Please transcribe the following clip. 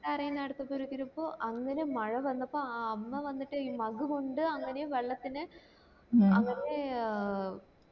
കരയിന് പ്പോ അങ്ങനെ മഴ വന്നപ്പോ ആ അമ്മ വന്നിട്ട് ഈ mug കൊണ്ട് അങ്ങനെ വെള്ളത്തിനെ അങ്ങനെ ആഹ്